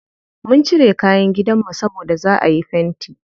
Mun cire kayan gidanmu saboda za'a yi fenti.